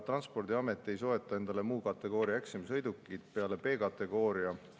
Transpordiamet ei soeta endale muu kategooria eksamisõidukeid peale B-kategooria.